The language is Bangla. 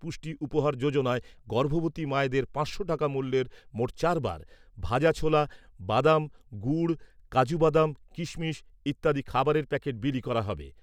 পুষ্টি উপহার যোজনায় গর্ভবতী মায়েদের পাঁচশো টাকা মূল্যের মোট চারবার ভাজা ছোলা, বাদাম, গুড়, কাজু বাদাম, কিশমিশ ইত্যাদি খাবারের প্যাকেট বিলি করা হবে।